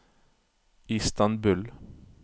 Istanbul